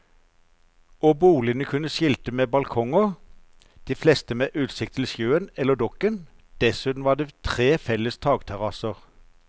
Og boligene kunne skilte med balkonger, de fleste med utsikt til sjøen eller dokken, dessuten var det tre felles takterrasser.